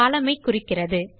columnஐ குறிக்கிறது